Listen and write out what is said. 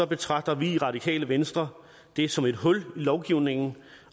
betragter vi i radikale venstre det som et hul i lovgivningen